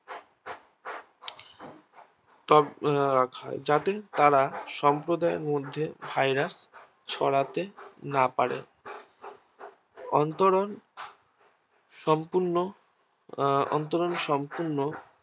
তবে আহ যাতে তারা সম্প্রদায়ের মধ্যে Virus ছড়াতে না পারে অন্তরন সম্পূর্ণ আহ অন্তরন সম্পূর্ণ